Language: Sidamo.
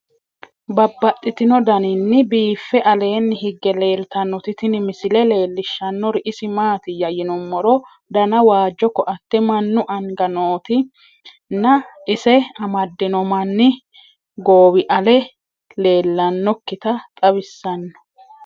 Babaxxittinno daninni biiffe aleenni hige leelittannotti tinni misile lelishshanori isi maattiya yinummoro danna waajjo koatte mannu anga nootti nna ise amadinno manni gowi ale leelanokkitta xawisanno